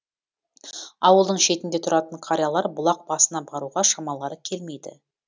ауылдың шетінде тұратын қариялар бұлақ басына баруға шамалары келмейді